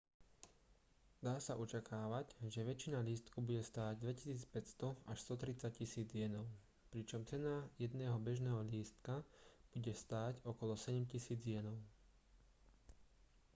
dá sa očakávať že väčšina lístkov bude stáť 2 500 až 130 000 jenov pričom cena jedného bežného lístka bude stáť okolo 7 000 jenov